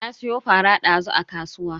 Na siyo fara dazu a kasuwa.